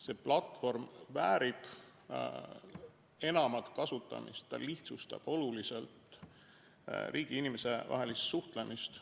See platvorm väärib enamat kasutamist, ta lihtsustab oluliselt riigi ja inimese vahelist suhtlemist.